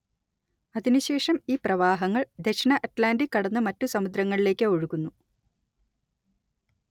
അതിനുശേഷം ഈ പ്രവാഹങ്ങൾ ദക്ഷിണ അറ്റ്‌ലാന്റിക് കടന്ന് മറ്റു സമുദ്രങ്ങളിലേക്ക് ഒഴുകുന്നു